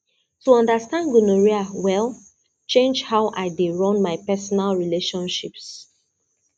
to understand gonorrhea well change how i dey run my personal relationships